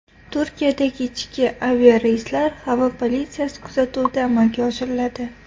Turkiyadagi ichki aviareyslar havo politsiyasi kuzatuvida amalga oshiriladi.